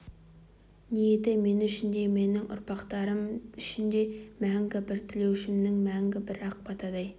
ниеті мен үшін де менің ұрпақтарым үшін де мәңгі бір тілеушімдей мәңгі бір ақ батадай